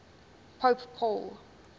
pope paul